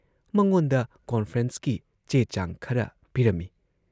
ꯃꯉꯣꯟꯗ ꯀꯣꯟꯐ꯭ꯔꯦꯟꯁꯀꯤ ꯆꯦ ꯆꯥꯡ ꯈꯔ ꯄꯤꯔꯝꯏ ꯫